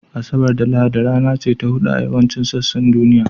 Asabar da Lahadi rana ce ta hutu a yawancin sassan duniya